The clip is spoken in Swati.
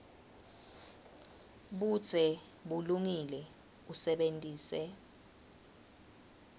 budze bulungile usebentise